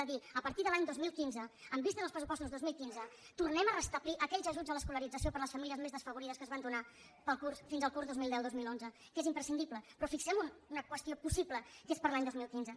de dir a partir de l’any dos mil quinze amb vistes als pressupostos dos mil quinze tornem a restablir aquells ajuts a l’escolarització per a les famílies més desfavorides que es van donar fins al curs dos mil deu dos mil onze que és imprescindible però fixem una qüestió possible que és per a l’any dos mil quinze